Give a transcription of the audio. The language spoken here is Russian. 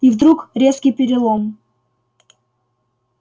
и вдруг резкий перелом